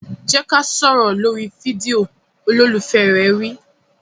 Jẹ́ ká sọ̀rọ̀ lórí fídíò! Olólùfẹ́ rẹ̀ wí.